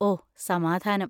ഓ, സമാധാനം.